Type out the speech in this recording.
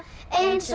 eins